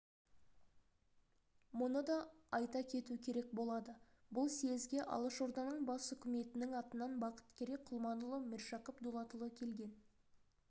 мұны да айта кету керек болады бұл съезге алашорданың бас үкіметінің атынан бақыткерей құлманұлы міржақып дулатұлы келген